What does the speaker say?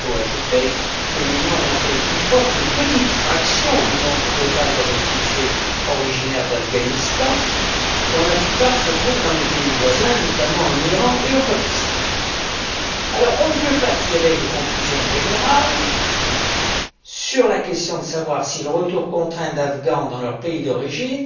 Il faut ajouter que l'Union n'accueille toutefois qu'une petite fraction du nombre total de réfugiés originaires d'Afghanistan, dont la plupart se trouvent dans les pays voisins, notamment en Iran et au Pakistan. On ne peut pas tirer de conclusions générales sur la question de savoir si le retour contraint d'Afghans dans leur pays d'origine